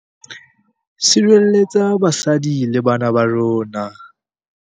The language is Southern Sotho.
Sirelletsa basadi le bana ba rona.